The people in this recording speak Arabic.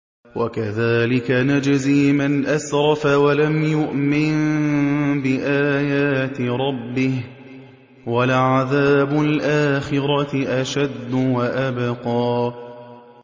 وَكَذَٰلِكَ نَجْزِي مَنْ أَسْرَفَ وَلَمْ يُؤْمِن بِآيَاتِ رَبِّهِ ۚ وَلَعَذَابُ الْآخِرَةِ أَشَدُّ وَأَبْقَىٰ